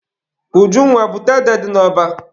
Ujunwa, bute ede dị n'ọba!